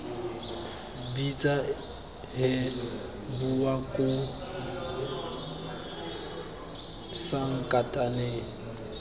bitsa hee bowa koo sankatane